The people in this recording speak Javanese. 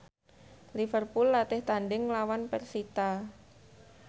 Liverpool latih tandhing nglawan persita